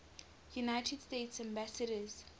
united states ambassadors